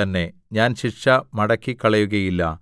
തന്നെ ഞാൻ ശിക്ഷ മടക്കിക്കളയുകയില്ല